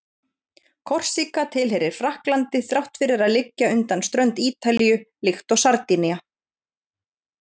Korsíka tilheyrir Frakklandi þrátt fyrir að liggja undan strönd Ítalíu, líkt og Sardinía.